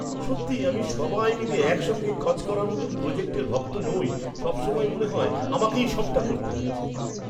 সত্যিই আমি সবাই মিলে একসঙ্গে কাজ করার মতো প্রজেক্টের ভক্ত নই; সবসময়ই মনে হয় আমাকেই সবটা করতে হচ্ছে।